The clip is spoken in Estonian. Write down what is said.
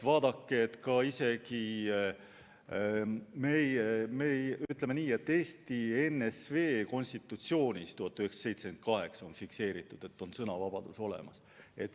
Vaadake, isegi Eesti NSV konstitutsioonis on fikseeritud, et sõnavabadus on olemas.